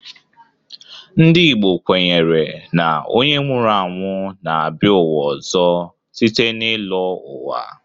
Ndị Igbo kwenyere na onye nwụrụ anwụ na-abịa ụwa ọzọ site n'ịlọ ụwa.